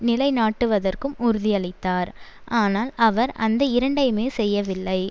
நிலை நாட்டுவதற்கும் உறுதியளித்தார் ஆனால் அவர் அந்த இரண்டையுமே செய்யவில்லை